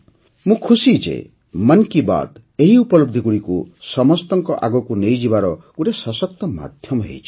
ମୁଁ ଖୁସି ଯେ ମନ୍ କି ବାତ୍ ଏହି ଉପଲବଧିଗୁଡ଼ିକୁ ସମସ୍ତଙ୍କ ଆଗକୁ ନେଇଯିବାର ଗୋଟିଏ ସଶକ୍ତ ମାଧ୍ୟମ ହୋଇଛି